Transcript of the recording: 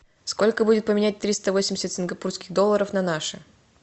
сколько будет поменять триста восемьдесят сингапурских долларов на наши